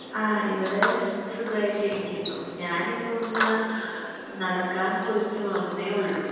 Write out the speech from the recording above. ആ ഇവടെ സുഖായിട്ടിരിക്കുന്നു ഞാനിപ്പൊന്ന് നടക്കാൻ പോയിട്ട് വന്നേ ഉള്ളു